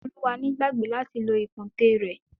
Toluwani gbàgbé láti lo ìkùntèe rẹ̀.